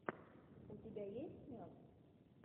у тебя есть мед